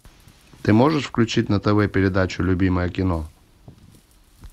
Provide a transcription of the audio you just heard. ты можешь включить на тв передачу любимое кино